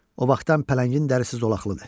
O vaxtdan pələngin dərisi zolaqlıdır.